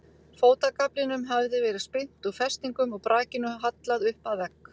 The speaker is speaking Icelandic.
Fótagaflinum hafði verið spyrnt úr festingum og brakinu hallað upp að vegg.